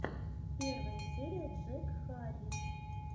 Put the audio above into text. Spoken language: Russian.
первая серия джек харрис